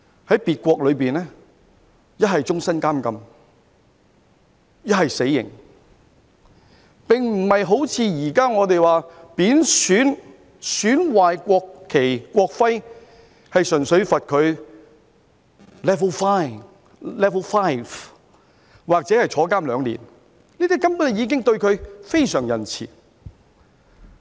在別國，一則終生監禁，一則死刑，並不是好像現時我們說貶損、損壞國旗、國徽，純粹判他 level 5罰款或入獄兩年，這根本已經對他非常仁慈。